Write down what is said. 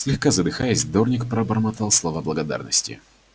слегка задыхаясь дорник пробормотал слова благодарности